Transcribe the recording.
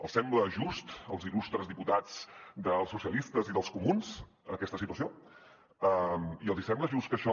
els sembla just als il·lustres diputats dels socialistes i dels comuns aquesta situació i els hi sembla just que això